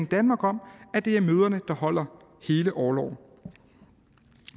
danmark om at det er mødrene der holder hele orloven